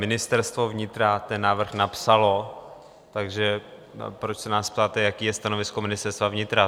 Ministerstvo vnitra ten návrh napsalo, takže proč se nás ptáte, jaké je stanovisko Ministerstva vnitra?